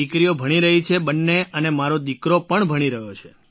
દીકરીઓ પણ ભણી રહી છે બંને અને મારો દીકરો પણ ભણી રહ્યો છે